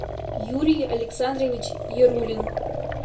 юрий александрович ярулин